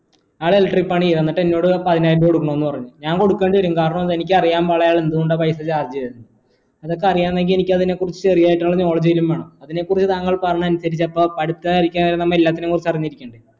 അയാൾ electric പണി ചെയ്തു എന്നിട് എന്നോട് പതിനായിരം രൂപ കൊടുക്കണമെന്ന് പറഞ്ഞ് ഞാൻ കൊടുക്കേണ്ടിവരും കാരണം എന്താ എനിക്ക് അറിയാൻ പാടില്ല അയാൾ എന്തുകൊണ്ട് പൈസ charge ചെയ്തേ ഇതൊക്കെ അറിയണമെങ്കിൽ എനിക്ക് അതിനെക്കുറിച്ച് ചെറിയായിട്ടുള്ള knowledge എങ്കിലും വേണം അതിനെക്കുറിച്ച് താങ്കൾ പറഞ്ഞത് അനുസരിച്ച് അപ്പോ പഠിക്കാതിരിക്കാൻ നമ്മ എല്ലാത്തിനെ കുറിച്ച് അറിഞ്ഞിരിക്കണം